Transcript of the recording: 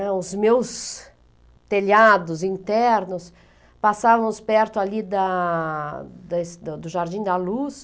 Os meus telhados internos passavam perto ali da da do Jardim da Luz.